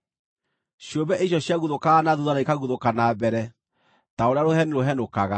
Ciũmbe icio ciaguthũkaga na thuutha na ikaguthũka na mbere ta ũrĩa rũheni rũhenũkaga.